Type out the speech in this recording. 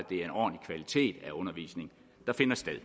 den undervisning der finder sted er